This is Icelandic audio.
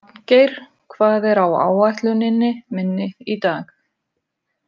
Magngeir, hvað er á áætluninni minni í dag?